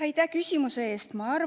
Aitäh küsimuse eest!